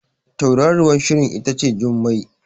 Tauraruwar Shirin ita ce Jummai